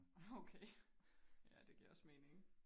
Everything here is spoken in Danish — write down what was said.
okay ja det giver også mening